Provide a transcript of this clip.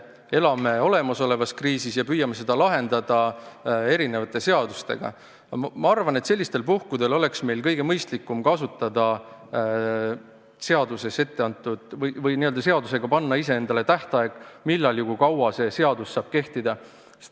Kriisi ajal me elame olemasolevas kriisis ja püüame seda lahendada erinevate seadustega, aga ma arvan, et sellistel puhkudel oleks meil kõige mõistlikum seadusega panna iseendale tähtaeg, millal ja kui kaua see seadus saab kehtida.